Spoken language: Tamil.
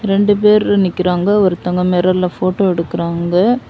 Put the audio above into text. ரெண்டு பேரு நிக்கிறாங்க ஒருத்தவங்க மிரர்ல போட்டோ எடுக்குறாங்க.